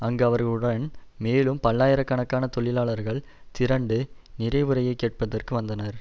அங்கு அவர்களுடன் மேலும் பல்லாயிர கணக்கான தொழிலாளர்கள் திரண்டு நிறைவுரையை கேட்பதற்கு வந்தனர்